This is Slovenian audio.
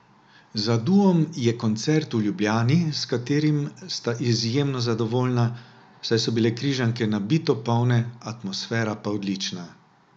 Za duom je koncert v Ljubljani, s katerim sta izjemno zadovoljna, saj so bile Križanke nabito polne, atmosfera pa odlična.